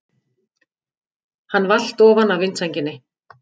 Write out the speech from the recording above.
Hann valt ofan af vindsænginni!